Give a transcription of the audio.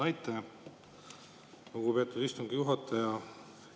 Aitäh, lugupeetud istungi juhataja!